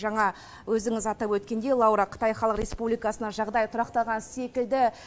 жаңа өзіңіз атап өткендей лаура қытай халық республикасында жағдай тұрақталған секілді